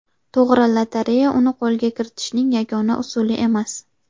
To‘g‘ri, lotereya uni qo‘lga kiritishning yagona usuli emas.